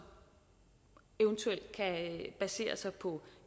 eventuelt kan basere sig på